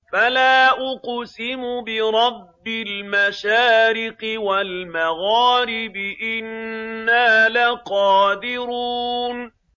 فَلَا أُقْسِمُ بِرَبِّ الْمَشَارِقِ وَالْمَغَارِبِ إِنَّا لَقَادِرُونَ